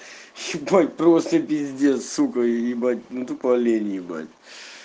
ебать просто пиздец сука ебать ну тупо олень ебать